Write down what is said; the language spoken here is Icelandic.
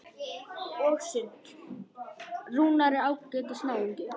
Rúnar er ágætis náungi.